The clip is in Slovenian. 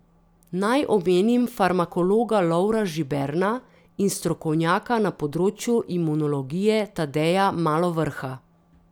Naj omenim farmakologa Lovra Žiberna in strokovnjaka na področju imunologije Tadeja Malovrha.